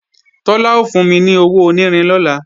Tọ́lá ó fún mi ní owó onírin lọ́la